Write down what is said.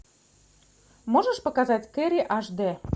можешь показать керри аш д